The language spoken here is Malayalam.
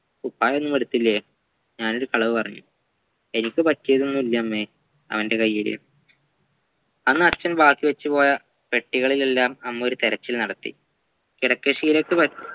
കുപ്പായമൊന്നുമെടുത്തില്ലേ ഞാനൊരു കളവ് പറഞ്ഞു എനിക്ക് പറ്റിയതൊന്നുല്ലമ്മേ അവന്റെ കയ്യിൽ അന്ന് അച്ഛൻ ബാക്കിവെച്ചുപോയ പെട്ടികളിലെല്ലാം അമ്മ ഒരു തിരച്ചിൽ നടത്തി കിടക്കശീലക്ക് പ